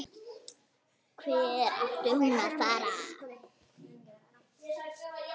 Hvert átti hún að fara?